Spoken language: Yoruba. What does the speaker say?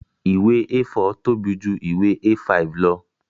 Ìwé A4 tóbi ju ìwé A5 lọ